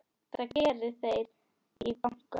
Það geri þeir í banka.